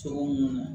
Cogo mun na